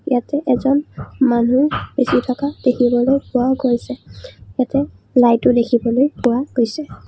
ইয়াতে এজন মানুহ ৰখি থকা দেখিবলৈ পোৱা গৈছে ইয়াতে লাইট ও দেখিবলৈ পোৱা গৈছে।